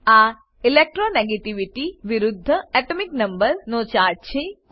આ ઇલેક્ટ્રોનેગેટિવિટી વિરુદ્ધ atomic number નો ચાર્ટ છે